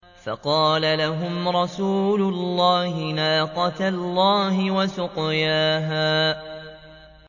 فَقَالَ لَهُمْ رَسُولُ اللَّهِ نَاقَةَ اللَّهِ وَسُقْيَاهَا